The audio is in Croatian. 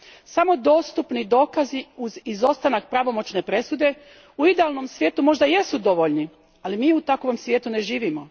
Samo dostupni dokazi uz izostanak pravomoćne presude u idealnom svijetu možda jesu dovoljni, ali mi u takvom svijetu ne živimo.